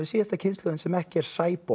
síðasta kynslóðin sem ekki er